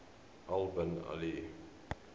al bin ali